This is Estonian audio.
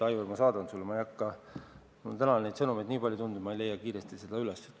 Aivar, ma saadan selle sulle, täna on sõnumeid nii palju tulnud, et ma ei leia kiiresti seda üles.